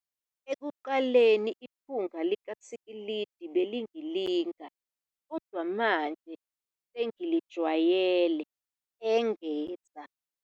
"Ekuqaleni, iphunga likasikilidi belingilinga, kodwa manje sengilijwayele," engeza.